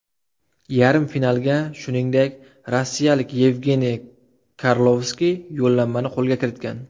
Yarim finalga, shuningdek, rossiyalik Yevgeniy Karlovskiy yo‘llanmani qo‘lga kiritgan.